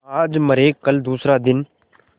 आज मरे कल दूसरा दिन